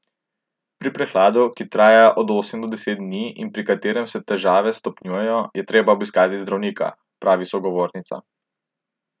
Pri prehladu, ki traja od sedem do deset dni in pri katerem se težave stopnjujejo, je treba obiskati zdravnika, pravi sogovornica.